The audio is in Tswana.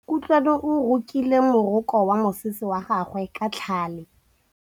Kutlwanô o rokile morokô wa mosese wa gagwe ka tlhale.